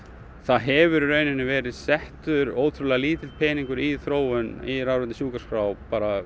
það hefur verið settur ótrúlega lítill peningur í í rafræna sjúkraskrá